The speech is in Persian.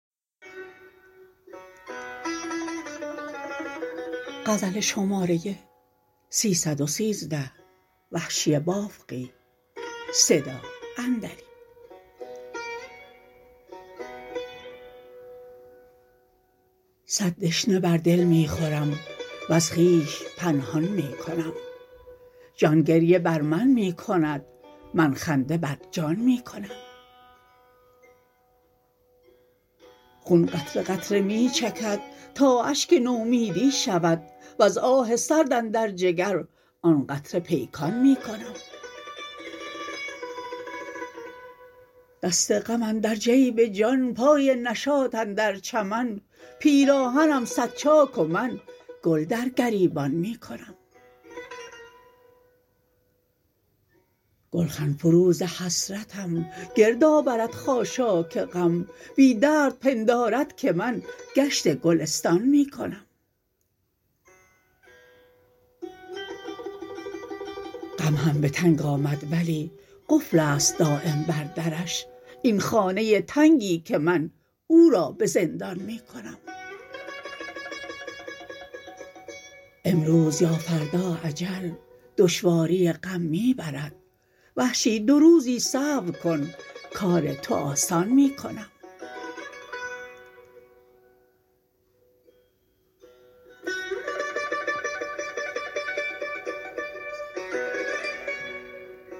صد دشنه بر دل می خورم وز خویش پنهان می کنم جان گریه بر من می کند من خنده بر جان می کنم خون قطره قطره می چکد تا اشک نومیدی شود وز آه سرد اندر جگر آن قطره پیکان می کنم دست غم اندر جیب جان پای نشاط اندر چمن پیراهنم صد چاک و من گل در گریبان می کنم گلخن فروز حسرتم گردآورد خاشاک غم بی درد پندارد که من گشت گلستان می کنم غم هم به تنگ آمد ولی قفلست دایم بر درش این خانه تنگی که من او را به زندان می کنم امروز یا فردا اجل دشواری غم می برد وحشی دو روزی صبر کن کار تو آسان می کنم